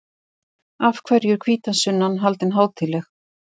Af hverju er hvítasunnan haldin hátíðleg?